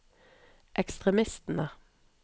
ekstremistene